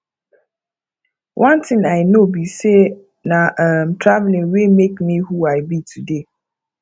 one thing i know be say na um traveling wey make me who i be today